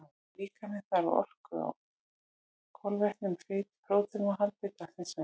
Líkaminn þarf á orku úr kolvetnum, fitu og próteinum að halda í dagsins önn.